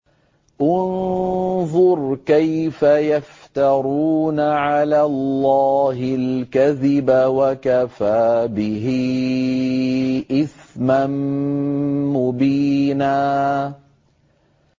انظُرْ كَيْفَ يَفْتَرُونَ عَلَى اللَّهِ الْكَذِبَ ۖ وَكَفَىٰ بِهِ إِثْمًا مُّبِينًا